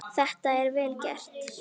Þetta er vel gert.